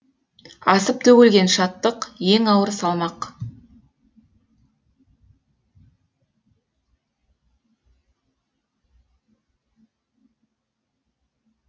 асып төгілген шаттық ең ауыр салмақ